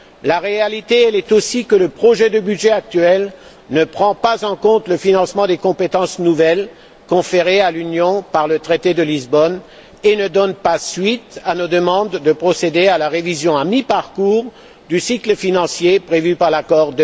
La réalité, elle est aussi que le projet de budget actuel ne prend pas en compte le financement des compétences nouvelles conférées à l'Union par le traité de Lisbonne et ne donne pas suite à nos demandes de procéder à la révision à mi parcours du cycle financier prévue par l'accord